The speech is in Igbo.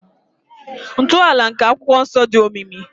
Ntọala nke akwụkwọ nsọ dị omimi.